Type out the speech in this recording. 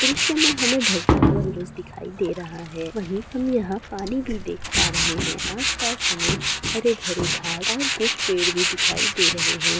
दृश्य में हमें ढलता हुआ सूरज दिखाई दे रहा हैं वही हम यहां पानी भी देख पा रहे हैं आस-पास हमें हरे-भरे घास और कुछ पेड़ भी दिखाई दे रहे हैं।